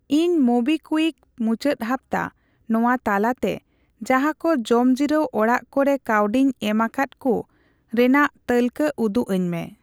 ᱤᱧ ᱢᱳᱵᱤᱠᱣᱤᱠ ᱢᱩᱪᱟᱹᱫ ᱦᱟᱯᱛᱟ ᱱᱚᱣᱟ ᱛᱟᱞᱟᱛᱮ ᱡᱟᱦᱟᱠᱚ ᱡᱚᱢᱡᱤᱨᱟᱹᱣ ᱚᱲᱟᱜ ᱠᱚᱨᱮ ᱠᱟ.ᱣᱰᱤᱧ ᱮᱢᱟᱠᱟᱫ ᱠᱩ ᱨᱮᱱᱟᱜ ᱛᱟᱹᱞᱠᱟᱹ ᱩᱫᱩᱜᱟᱹᱧᱢᱮ ᱾